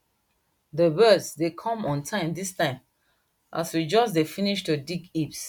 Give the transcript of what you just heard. dey birds dem come on time dis time as we just dey finish to dig heaps